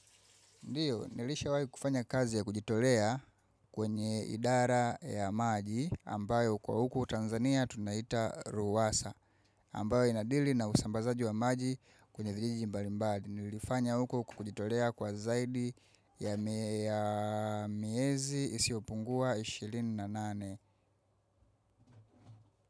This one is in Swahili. Ndiyo, nilishawai kufanya kazi ya kujitolea kwenye idara ya maji ambayo kwa huku Tanzania tunaita Ruwasa ambayo inadili na usambazaji wa maji kwenye vijiji mbali mbali. Nilifanya huku kwa kujitolea kwa zaidi ya miezi isiyopungua 28.